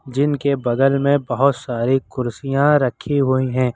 जिनके बगल में बहोत सारी कुर्सियां रखी हुई है।